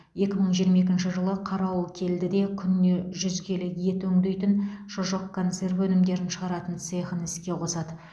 екі мың жиырма екінші жылы қарауылкелдіде күніне жүз келі ет өңдейтін шұжық консерві өнімдерін шығаратын цехын іске қосады